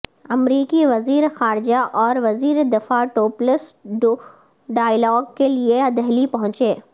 امریکی وزیرخارجہ اور وزیردفاع ٹو پلس ٹو ڈائیلاگ کے لیے دہلی پہنچے